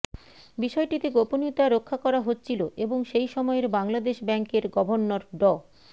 বিষয়টিতে গোপনীয়তা রক্ষা করা হচ্ছিলো এবং সেই সময়ের বাংলাদেশ ব্যাংকের গভর্নর ড